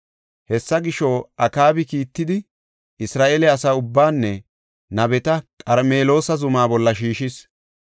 Hessa gisho, Akaabi kiittidi, Isra7eele asa ubbaanne nabeta Qarmeloosa zuma bolla shiishis.